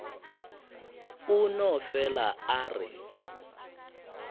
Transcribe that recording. a no fele a re